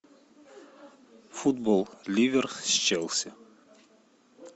футбол ливер с челси